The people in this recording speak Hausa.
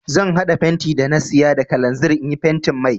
Zan haɗa fenti da na saya da kalanzir in yi fentin mai.